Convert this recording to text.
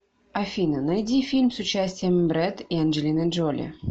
афина найди фильм с участием брэд и анджелины джоли